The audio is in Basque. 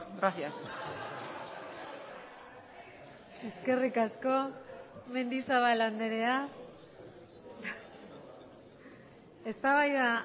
gracias eskerrik asko mendizabal andrea eztabaida